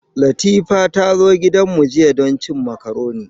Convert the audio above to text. Latifa ta zo gidana jiya don cin makaroni.